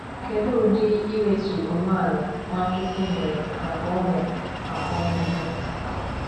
Kedu udi iwetu onwe ala Nwachukwu nyere maka ụmụ maka ụmụ ya